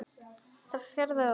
Það fjarar út.